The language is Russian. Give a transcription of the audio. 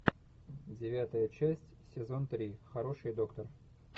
девятая часть сезон три хороший доктор